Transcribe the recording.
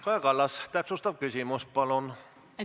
Kaja Kallas, täpsustav küsimus, palun!